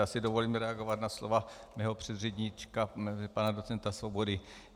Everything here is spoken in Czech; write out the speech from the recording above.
Já si dovolím reagovat na slova svého předřečníka pana docenta Svobody.